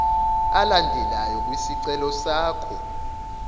alandelayo kwisicelo sakho